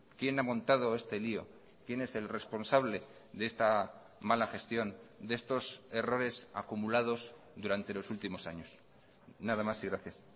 quién ha montado este lío quién es el responsable de esta mala gestión de estos errores acumulados durante los últimos años nada más y gracias